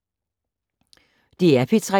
DR P3